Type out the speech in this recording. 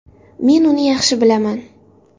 Men uni yaxshi bilaman.